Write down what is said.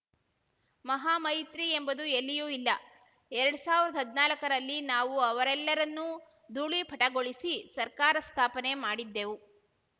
ಮಹಾಮೈತ್ರಿ ಎಂಬುದು ಎಲ್ಲಿಯೂ ಇಲ್ಲ ಎರಡ್ ಸಾವ್ರ್ದಾ ಹದ್ನಾಕರಲ್ಲಿ ನಾವು ಅವರೆಲ್ಲರನ್ನೂ ಧೂಳೀಪಟಗೊಳಿಸಿ ಸರ್ಕಾರ ಸ್ಥಾಪನೆ ಮಾಡಿದ್ದೆವು